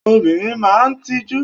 Obìnrin máa ń tijú.